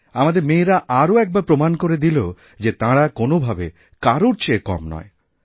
আমাদের মেয়েরা আরওএকবার প্রমাণ করে দিল যে তাঁরা কোনওভাবে কারোর চেয়ে কম নয়